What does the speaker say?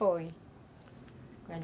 Foi.